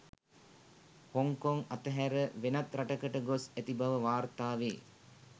Hong Kong අතහැර වෙනත් රටකට ගොස් ඇති බව වාර්තා වේ